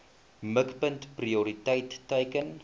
mikpunt prioriteit teiken